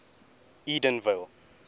edenvale